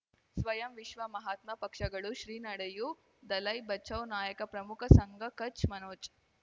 ಸ್ವಯಂ ವಿಶ್ವ ಮಹಾತ್ಮ ಪಕ್ಷಗಳು ಶ್ರೀ ನಡೆಯೂ ದಲೈ ಬಚೌ ನಾಯಕ ಪ್ರಮುಖ ಸಂಘ ಕಚ್ ಮನೋಜ್